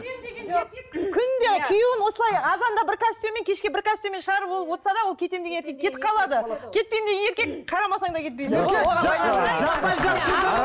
күнде күйеуін осылай азанда бір костюммен кешке бір костюммен шығарып ол отырса да ол кетем деген еркек кетіп қалады кетпеймін деген еркек қарамасаң да кетпейді